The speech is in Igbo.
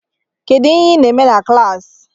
Kedu ihe ị na-eme na klaasi?